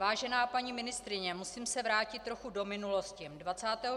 Vážená paní ministryně, musím se vrátit trochu do minulosti.